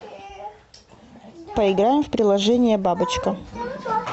поиграем в приложение бабочка